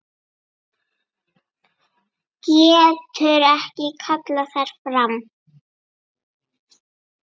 Getur ekki kallað þær fram.